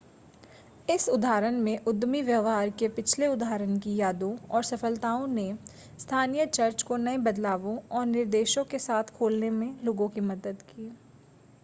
इस उदाहरण में उद्यमी व्यवहार के पिछले उदाहरण की यादों और सफ़लताओं ने स्थानीय चर्च को नए बदलावों और निर्देशों के साथ खोलने में लोगों की मदद की